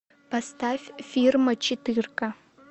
поставь фирма четырка